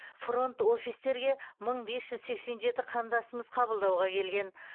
фронт офистерге мың бес жүз сексен жеті қандасымыз қабылдауға келген